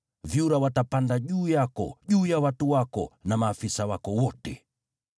Vyura watapanda juu yako, juu ya watu wako na maafisa wako wote.’ ”